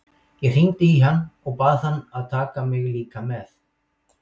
Ég hringdi í hann og bað hann að taka mig líka með.